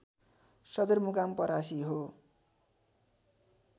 सदरमुकाम परासी हो